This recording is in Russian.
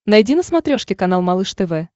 найди на смотрешке канал малыш тв